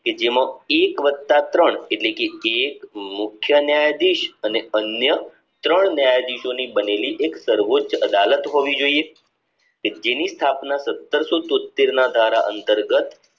કે જેમાં એક વત્તા ત્રણ એટલે કે એક મુખ્ય ન્યાયાધીશ અન્ય ત્રણ ન્યાયાધીશોની બનેલી એક સર્વોચ્ચ અદાલત હોવી જોઈએ કે જેની સ્થાપના સાટ્રેસો તોત્તેરનાં ધારા અંતર્ગત